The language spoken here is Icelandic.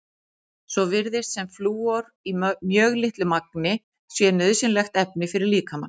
Svo virðist sem flúor í mjög litlu magni sé nauðsynlegt efni fyrir líkamann.